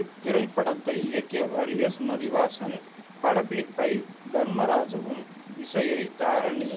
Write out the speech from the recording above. இத்திரைப்படத்தை இயக்கியவர் எஸ் மதிவாசன் படப்பிடிப்பை தர்மராஜாவும் இசையை தாரணி